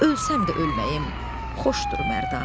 Ölsəm də ölməyəyim xoşdur Mərdanə.